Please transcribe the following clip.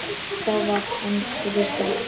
Þá var Herði skemmt.